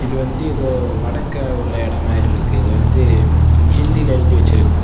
இது வந்து ஏதோ வடக்குல உள்ள இடம் மாறி இருக்கு இது வந்து ஹிந்தில எழுதி வச்சிருக்கு.